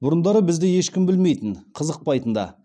бұрындары бізді ешкім білмейтін қызықпайтын да